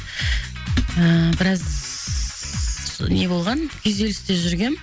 ііі біраз не болған күйзелісте жүргем